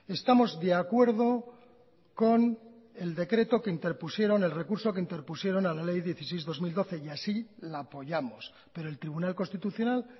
estamos de acuerdo con el decreto que interpusieron el recurso que interpusieron a la ley dieciséis barra dos mil doce y así la apoyamos pero el tribunal constitucional